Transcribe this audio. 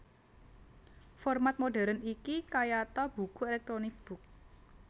Format modern iki kayata buku elektronik book